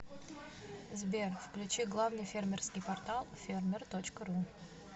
сбер включи главный фермерский портал фермер точка ру